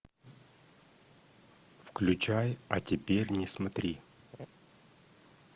включай а теперь не смотри